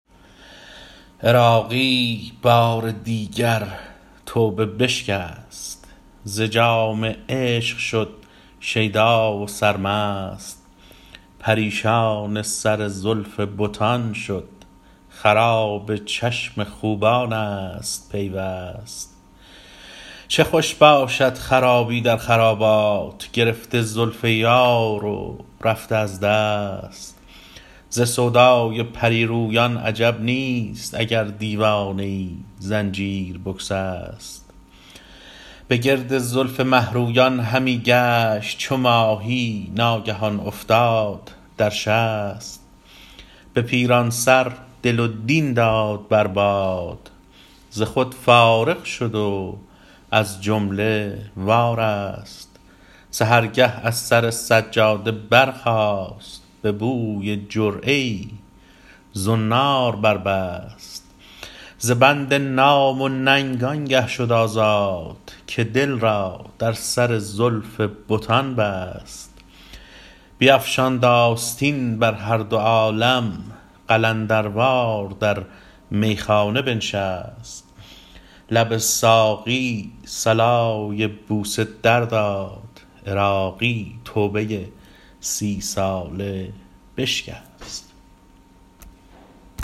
عراقی بار دیگر توبه بشکست ز جام عشق شد شیدا و سرمست پریشان سر زلف بتان شد خراب چشم خوبان است پیوست چه خوش باشد خرابی در خرابات گرفته زلف یار و رفته از دست ز سودای پریرویان عجب نیست اگر دیوانه ای زنجیر بگسست به گرد زلف مهرویان همی گشت چو ماهی ناگهان افتاد در شست به پیران سر دل و دین داد بر باد ز خود فارغ شد و از جمله وارست سحرگه از سر سجاده برخاست به بوی جرعه ای زنار بربست ز بند نام و ننگ آنگه شد آزاد که دل را در سر زلف بتان بست بیفشاند آستین بر هردو عالم قلندروار در میخانه بنشست لب ساقی صلای بوسه در داد عراقی توبه سی ساله بشکست